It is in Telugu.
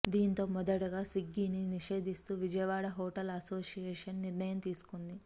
దీంతో మొదటగా స్విగ్గీని నిషేధిస్తూ విజయవాడ హోటల్ అసోసియేషన్ నిర్ణయం తీసుకుంది